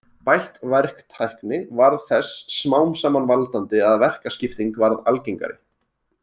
Bætt verktækni varð þess smám saman valdandi að verkaskipting varð algengari.